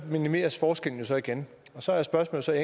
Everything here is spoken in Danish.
minimeres forskellen så igen og så er spørgsmålet